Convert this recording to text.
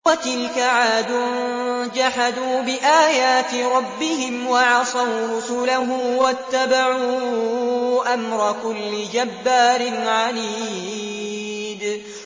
وَتِلْكَ عَادٌ ۖ جَحَدُوا بِآيَاتِ رَبِّهِمْ وَعَصَوْا رُسُلَهُ وَاتَّبَعُوا أَمْرَ كُلِّ جَبَّارٍ عَنِيدٍ